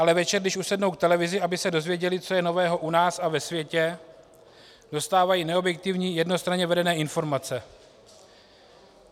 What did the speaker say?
Ale večer, když usednou k televizi, aby se dozvěděli, co je nového u nás a ve světě, dostávají neobjektivní, jednostranně vedené informace.